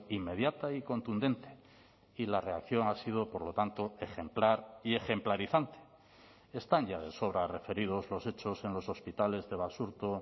inmediata y contundente y la reacción ha sido por lo tanto ejemplar y ejemplarizante están ya de sobra referidos los hechos en los hospitales de basurto